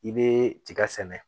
I be tiga sɛnɛ